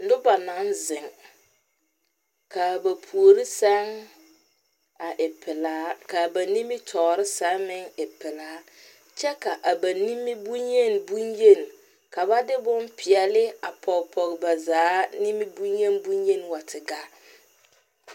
Noba naŋ zeŋ, kaa ba puori seŋ a e pelaa, kaa ba nimitɔre seŋ meŋ e pelaa, kyɛ ka a ba nimi bonyen bonyen ka ba de bon pɛɛle a Pɔge pɔge ba zaa nimi bonyen bonyenwa te gaa